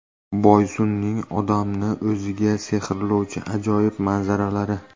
Boysunning odamni o‘ziga sehrlovchi ajoyib manzaralari.